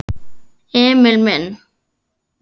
Emil minn.